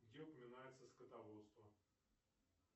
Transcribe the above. где упоминается скотоводство